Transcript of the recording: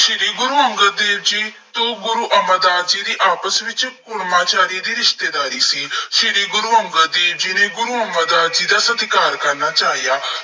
ਸ਼੍ਰੀ ਗੁਰੂ ਅੰਗਦ ਦੇਵ ਜੀ ਤੇ ਗੁਰੂ ਅਮਰਦਾਸ ਜੀ ਦੀ ਆਪਸ ਵਿੱਚ ਕੁੜਮਾਚਾਰੀ ਦੀ ਰਿਸ਼ਤੇਦਾਰੀ ਸੀ। ਸ਼੍ਰੀ ਗੁਰੂ ਅੰਗਦ ਦੇਵ ਜੀ ਨੇ ਗੁਰੂ ਅਮਰਦਾਸ ਜੀ ਦਾ ਸਤਿਕਾਰ ਕਰਨਾ ਚਾਹਿਆ।